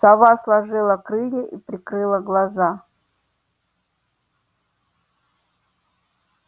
сова сложила крылья и прикрыла глаза